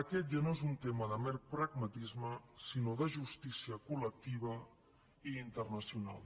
aquest ja no és un tema de mer pragmatisme sinó de justícia col·lectiva i internacional